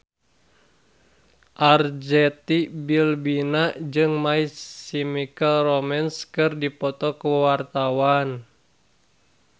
Arzetti Bilbina jeung My Chemical Romance keur dipoto ku wartawan